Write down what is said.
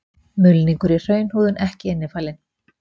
Mulningur í hraunhúðun ekki innifalinn.